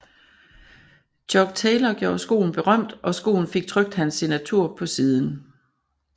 Chuck Taylor gjorde skoen berømt og skoen fik trykt hans signatur på siden